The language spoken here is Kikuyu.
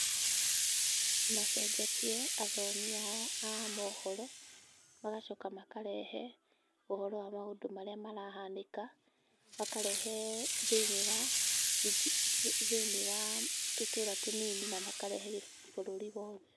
Nĩ macenjetie athomi ao a mohoro. Magacoka makarehe ũhoro wa maũndũ marĩa marahanĩka. Makarehe thĩ~inĩ wa tũtũra tũnini na makarehe bũrũri wothe.